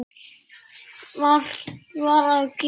Margt var að gerast.